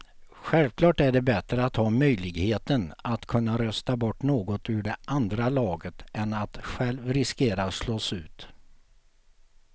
Självklart är det bättre att ha möjligheten att kunna rösta bort någon ur det andra laget än att själv riskera att slås ut.